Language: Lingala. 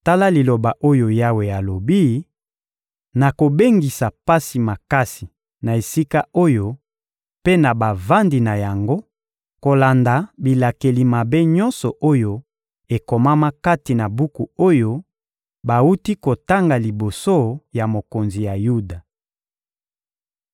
‹Tala liloba oyo Yawe alobi: Nakobengisa pasi makasi na esika oyo mpe na bavandi na yango kolanda bilakeli mabe nyonso oyo ekomama kati na buku oyo bawuti kotanga liboso ya mokonzi ya Yuda.›